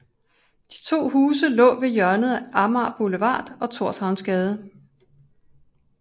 De to huse lå ved hjørnet af Amager Boulevard og Thorshavnsgade